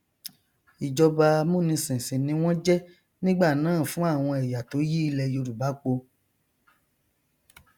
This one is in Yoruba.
ìjọba amúnisìn sì ni wọn jẹ nígbànáà fún àwọn ẹyà tó yí ilẹ yorùbá po